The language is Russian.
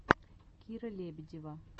кира лебедева